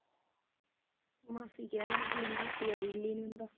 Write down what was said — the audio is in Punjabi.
ਮਾਸੀ ਕਹਿ ਹੈ ਪਰ ਮਾਸੀ ਦਾ ਦਿਲ ਨਹੀਂ ਹੁੰਦਾ।